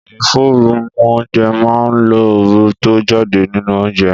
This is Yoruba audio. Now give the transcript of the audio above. Ìforu mú oúnjẹ máa ń lo ooru tó ń jáde nínú oúnjẹ